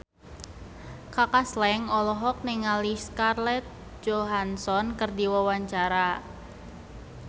Kaka Slank olohok ningali Scarlett Johansson keur diwawancara